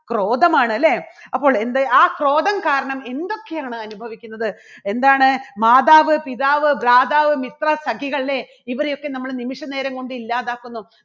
ക്രോധമാണ് അല്ലേ അപ്പോൾ എൻറെ ആ ക്രോധം കാരണം എന്തൊക്കെയാണ് അനുഭവിക്കുന്നത് എന്താണ് മാതാവ്, പിതാവ്, , മിത്രം അല്ലേ ഇവരെയൊക്കെ നമ്മൾ നിമിഷം നേരം കൊണ്ട് ഇല്ലാതാക്കുന്നു.